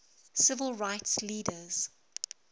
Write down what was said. civil rights leaders